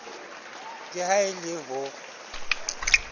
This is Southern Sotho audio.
ke ha e le ho